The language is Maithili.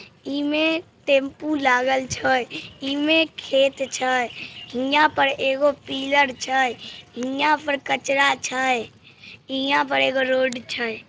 इमे टेम्पू लागेल छय इमे खेत छय हीया पर एगो पिलर छय हीया पर कचरा छय हीया पर एगो रोड छय।